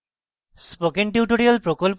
spoken tutorial প্রকল্প the